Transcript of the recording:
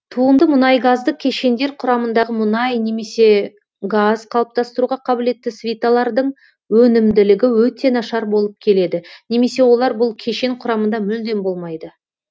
туынды мұнайгазды кешендер құрамындағы мұнай немесе газ қалыптастыруға қабілетті свиталардың өнімділігі өте нашар болып келеді немесе олар бұл кешен құрамында мүлдем болмайды